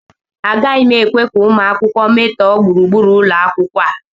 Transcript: Agaghị m ekwe ka ụmụ akwụkwọ metọọ gburugburu ụlọ akwụkwọ a